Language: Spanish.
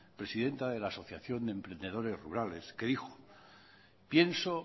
presidenta de la asociación de emprendedores rurales que dijo pienso